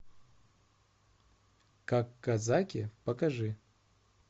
как казаки покажи